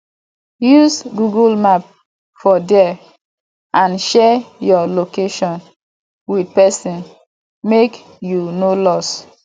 use google map for there and share your location with persin make you no lost